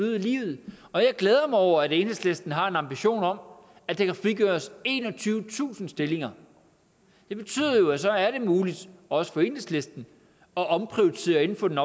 i livet og jeg glæder mig over at enhedslisten har en ambition om at der kan frigøres enogtyvetusind stillinger det betyder jo at så er det muligt også for enhedslisten at omprioritere inden for den